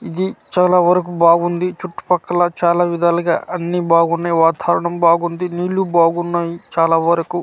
ఇది చాలా వరకు బాగుంది చుట్టుపక్కల చాలా విధాలుగా అన్ని బాగున్నాయ్ వాతావరణం బాగుంది నీళ్ళు బాగున్నాయి చాలా వరకు--